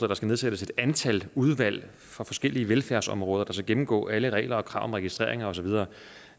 der skal nedsættes et antal udvalg fra forskellige velfærdsområder der skal gennemgå alle regler og krav om registreringer og så videre